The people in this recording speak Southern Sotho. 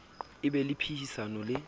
a be le phehisano le